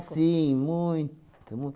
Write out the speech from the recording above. Sim, muito.